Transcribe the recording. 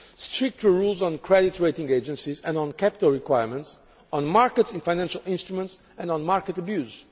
stricter rules on credit rating agencies and on capital requirements, on markets in financial instruments and on market abuse.